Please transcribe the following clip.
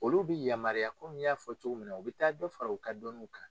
Olu bɛ yamaruya komi n y'a fɔ cogo min na u bɛ taa dɔ fara u ka dɔnniw kan